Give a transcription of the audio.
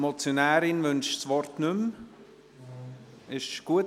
Die Motionärin wünscht das Wort nicht mehr.